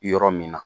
Yɔrɔ min na